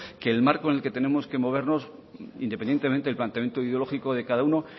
que el marco en el que tenemos que movernos independientemente del planteamiento ideológico de cada uno